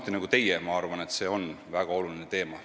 Nii nagu teie, arvan mina samuti, et see on väga oluline teema.